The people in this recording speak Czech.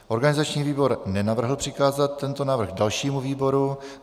Organizační výbor nenavrhl přikázat tento návrh dalšímu výboru.